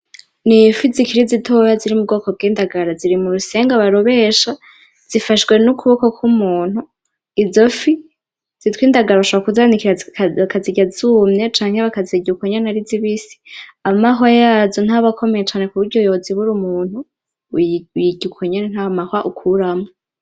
N'ifi zikiri zitoya ziri mubwoko bw'indagara ziri murusenga barobesha, zifashwe n'ukuboko k'umuntu, izofi zitwa indagara bashobora kuzanikira bakazirya zumye canke bakazirya uko nyene ari zibisi. amahwa yazo ntaba akomeye cane kuburyo yozibura umuntu uyirya ukonyene ntamahwa ukuramwo.